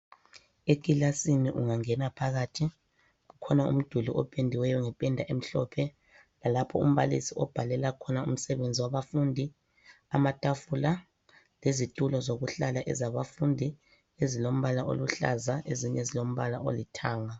Ekilasini ungangena phakathi kulomduli opendiweyo ngependa emhlophe lalapho umbalisi obhalela khona umsebenzi wabafundi, amatafula lezitulo zokuhlala ezabafundi ezilombala oluhlaza, ezinye zilombala olithanga.